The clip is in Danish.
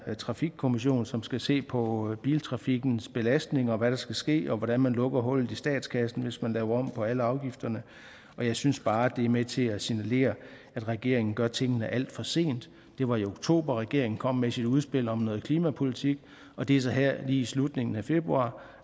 her trafikkommission som skal se på biltrafikkens belastning og hvad der skal ske og hvordan man lukker hullet i statskassen hvis man laver om på alle afgifterne jeg synes bare det er med til at signalere at regeringen gør tingene alt for sent det var i oktober regeringen kom med sit udspil om noget klimapolitik og det er så her lige i slutningen af februar